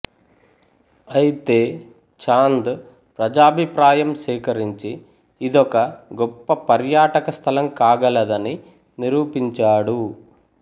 అయితే చాంద్ ప్రజాభిప్రాయం సేకరించి ఇదొక గొప్ప పర్యాటక స్థలం కాగలదని నిరూపించాడు